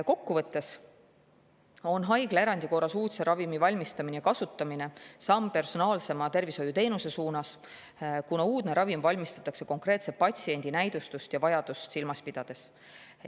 Kokkuvõttes on haiglaerandi korras uudse ravimi valmistamine ja kasutamine samm personaalsema tervishoiuteenuse suunas, kuna uudne ravim valmistatakse konkreetse patsiendi näidustust ja vajadust silmas pidades.